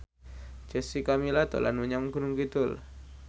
Jessica Milla dolan menyang Gunung Kidul